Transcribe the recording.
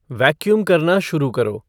vacuum करना शुरू करो